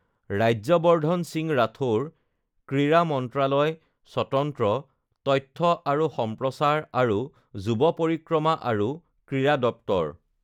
ৰাজ্যবৰ্ধন সিং ৰাথোড়, ক্ৰীড়া মন্ত্ৰালয় স্বতন্ত্ৰ তথ্য আৰু সম্প্ৰচাৰ আৰু যুৱ পৰিক্ৰমা আৰু ক্ৰীড়া দপ্তৰ